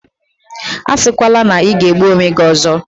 Asikwala na ị ga-egbu onwe gi ozo!